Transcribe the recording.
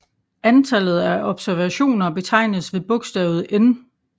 Antallet af observationer betegnes ved bogstavet n